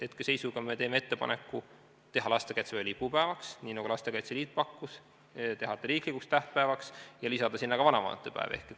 Hetkeseisuga me teeme ettepaneku teha lastekaitsepäev lipupäevaks, nii nagu Lastekaitse Liit pakkus, teha ta riiklikuks tähtpäevaks ja lisada ka vanavanemate päev.